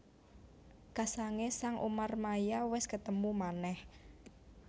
Kasangé sang Umarmaya wis ketemu manèh